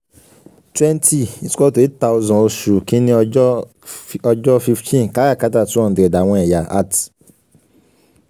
twenty is equal to eight thousand oṣu kini ọjọ ọjọ fifteen karakata two hundred awọn ẹya at